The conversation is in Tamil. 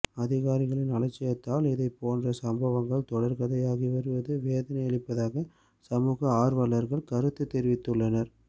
அதிகாரிகளின் அலட்சியத்தால் இதைப்போன்ற சம்பவங்கள் தொடர்கதையாகி வருவது வேதனை அளிப்பதாக சமூக ஆர்வலர்கள் கருத்து தெரிவித்துள்ளனர்